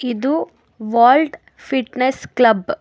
ಇದು vault fitness club .